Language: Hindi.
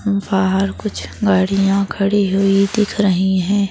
बाहर कुछ गाड़ियां खड़ी हुई दिख रही हैं।